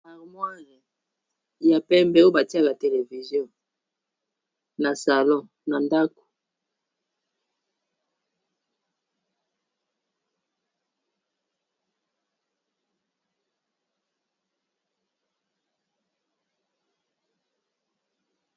Harmoire ya pembe oyo batiaka television na salon na ndako.